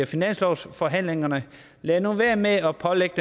finanslovsforhandlingerne lad nu være med at pålægge